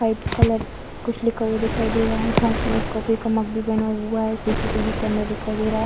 White colour से कुछ लिखा हुआ दिखाई दे रहा है। साथ में एक कॉफ़ी का मग भी बना हुआ है। सीसीटीवी का कैमरा दिखाई दे रहा है।